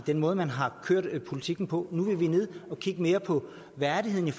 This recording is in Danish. den måde man har kørt politikken på nu vil vi ned og kigge mere på værdigheden